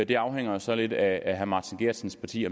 det afhænger så lidt af herre martin geertsens parti